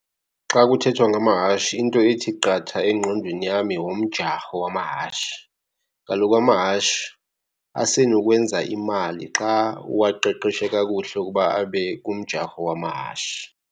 Xa kuthethwa ngamahashi into ethi qatha engqondweni yami ngumjarho wamahashi. Kaloku amahashi asenokwenza imali xa uwaqeqeshe kakuhle ukuba abe kumjarho wamahashi.